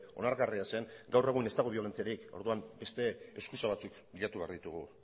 onargarria zen gaur egun ez dago biolentziarik orduan beste eskusa batzuk bilatu behar ditugu